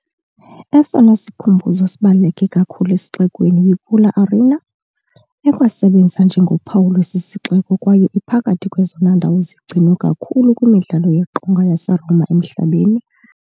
Esona sikhumbuzo sibaluleke kakhulu esixekweni yiPula Arena, ekwasebenza njengophawu lwesi sixeko kwaye iphakathi kwezona ndawo zigcinwe kakhulu kwimidlalo yeqonga yaseRoma emhlabeni.